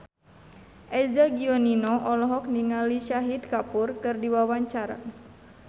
Eza Gionino olohok ningali Shahid Kapoor keur diwawancara